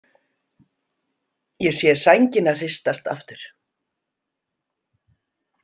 Ég sé sængina hristast aftur.